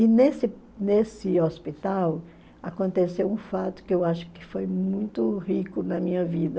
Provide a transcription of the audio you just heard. E nesse nesse hospital aconteceu um fato que eu acho que foi muito rico na minha vida.